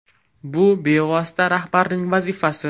Bu bevosita rahbarning vazifasi.